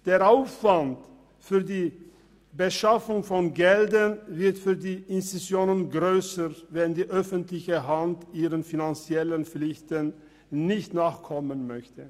Der Aufwand für die Beschaffung von Geldern wird für die Institutionen grösser, wenn die öffentliche Hand ihren finanziellen Pflichten nicht nachkommen will.